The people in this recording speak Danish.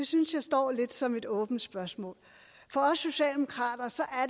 synes jeg står lidt som et åbent spørgsmål for os socialdemokrater